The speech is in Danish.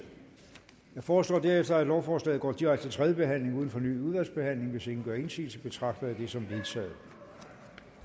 jeg foreslår derefter at lovforslaget går direkte til tredje behandling uden fornyet udvalgsbehandling hvis ingen gør indsigelse betragter jeg det som vedtaget